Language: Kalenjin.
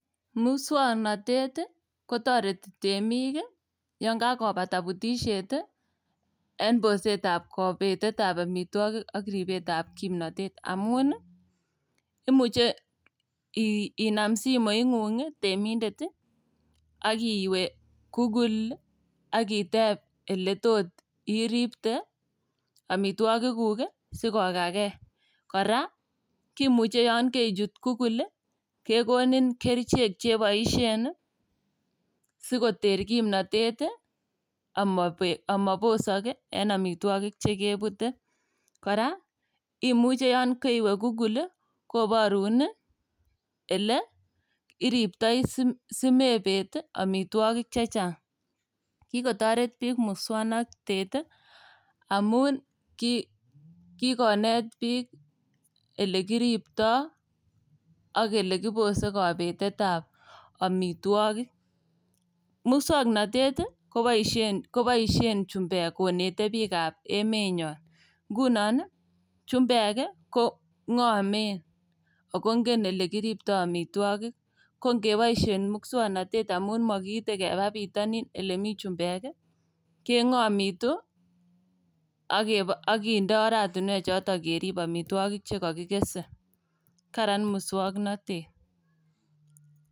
Muswoknotet ii kotoreti temik yon kakopata butisiet en bosetab kobetetab omitwokik ak kobetetab kimnotet amun ii imuche ii inam simoing'ung' temindet ak iwe google ak iteb iletot iripte omitwogikuk sikokakei. Kora yon kerichut google kekonin kerichek cheboisien ii sikoter kimnotet omobek omosok ii en omitwogik chekebute. Kora imuche yon keriwe google ii koborun ii ile iriptoi simebet ii omitwogik chechang' . Kikotoret biik muswoknotet amun ii kikonet biik ilekiripto ak ilekoposto kobetetab omitwogik. Muswoknotet koboisien koboisien chumbek koneten bikab emenyon ngunon chumbek kong'omen amun ingen ilekiripto omitwogik kongeboisien muswoknotet amun mokiite keba bitonin ile mi chumbek ii keng'omitu ak kebo kindo oratinwekchoton kerib omitwokik. Karan muswoknotet.